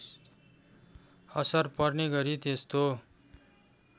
असर पर्नेगरी त्यस्तो